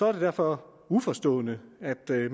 er det derfor uforståeligt at det